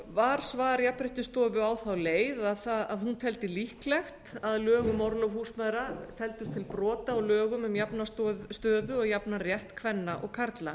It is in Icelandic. var svar jafnréttisstofu á þá leið að hún teldi líklegt að lög um orlof húsmæðra teldust til brota á lögum um jafna stöðu og jafnan rétt kvenna og karla